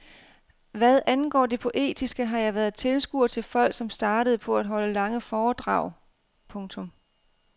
Hvad angår det poetiske har jeg været tilskuer til folk som startede på at holde lange foredrag. punktum